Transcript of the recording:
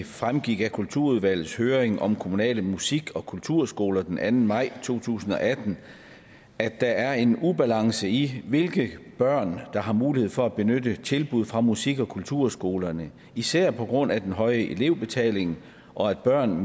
fremgik af kulturudvalgets høring om kommunale musik og kulturskoler den anden maj to tusind og atten at der er en ubalance i hvilke børn der har mulighed for at benytte tilbud fra musik og kulturskolerne især på grund af den høje elevbetaling og at børn